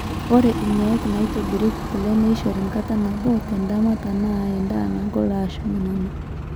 ore inaiki naaitobirieki kule neishori kata nabo tendama tenaa endaa nagol aashu nanana